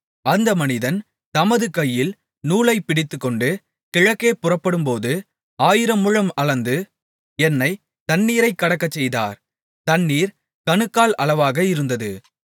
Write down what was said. அந்த மனிதன் தமது கையில் நூலைப் பிடித்துக்கொண்டு கிழக்கே புறப்படும்போது ஆயிரமுழம் அளந்து என்னைத் தண்ணீரைக் கடக்கச்செய்தார் தண்ணீர் கணுக்கால் அளவாக இருந்தது